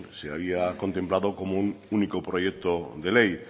se había contemplado como un único proyecto de ley